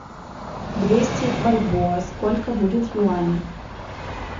двести бальбоа сколько будет юаней